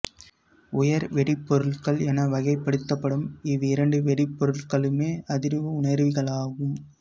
உயர் வெடிபொருட்கள் என வகைப்படுத்தப்படும் இவ்விரண்டு வெடிபொருட்களுமே அதிர்வு உணரிகளாகும்